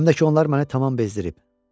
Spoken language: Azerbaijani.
Həm də ki, onlar məni tamam bezdirib.